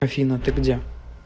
афина ты где